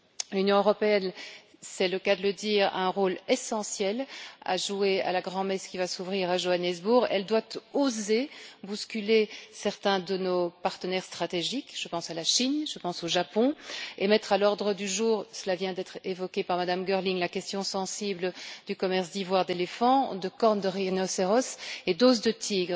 L'Union européenne, c'est le cas de le dire, a un rôle essentiel à jouer à la grand messe qui va s'ouvrir à Johannesburg. Elle doit oser bousculer certains de nos partenaires stratégiques, je pense à la Chine, je pense au Japon, et mettre à l'ordre du jour cela vient d'être évoqué par Mme Girling la question sensible du commerce d'ivoire d'éléphant, de cornes de rhinocéros et d'os de tigre.